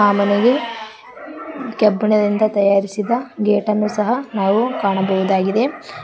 ಮನೆಗೆ ಕಬ್ಬಿಣದಿಂದ ತಯಾರಿಸಿದ ಗೇಟ್ ಅನ್ನು ಸಹ ನಾವು ಕಾಣಬಹುದಾಗಿದೆ.